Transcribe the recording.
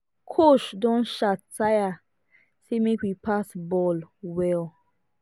coach don shout tire say make we pass ball well